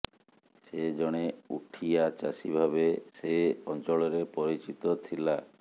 ସେ ଜଣେ ଉଠିଆ ଚାଷୀଭାବେ ସେ ଅଂଚଳରେ ପରିଚିତ ଥିଲା